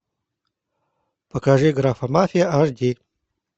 покажи графомафия аш ди